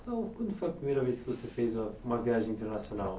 Qual quando foi a primeira vez que você fez uma uma viagem internacional?